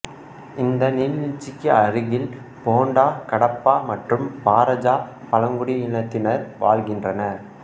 இந்த நீர்வீழ்ச்சிக்கு அருகில் போண்டா கடாபா மற்றும் பராஜா பழங்குடி இனத்தினர் வாழ்கின்றனர்